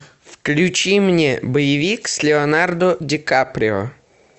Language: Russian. включи мне боевик с леонардо ди каприо